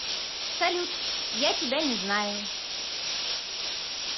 салют я тебя не знаю